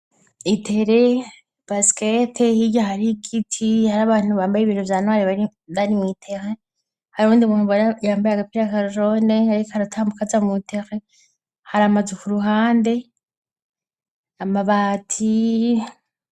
Itere baskete hirya hari igiti hari abantu bambaye ibintu vyanwari abarimwitehe hari undi umuntu baryambaye agapira akajone, ariko aratambuka aza mutere hari amaze uku ruhande amabati.